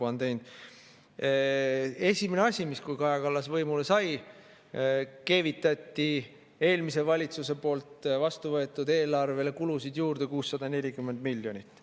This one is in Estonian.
Esimene asi, mis, kui Kaja Kallas võimule sai: keevitati eelmise valitsuse poolt vastu võetud eelarvele kulusid juurde 640 miljonit.